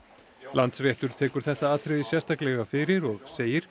Landsréttur tekur þetta atriði sérstaklega fyrir og segir